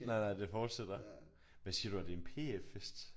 Nej nej det fortsætter hvad siger du er det en PF-fest?